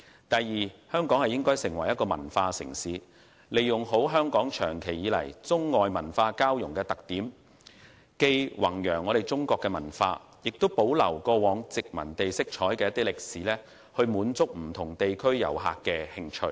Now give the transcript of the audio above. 第二，香港應發展成為文化城市，好好利用本港長期以來中外文化交融的特點，既弘揚中國文化，也保留過往殖民地色彩的歷史，迎合不同地區遊客的興趣。